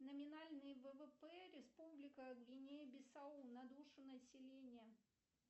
номинальный ввп республика гвинея бисау на душу населения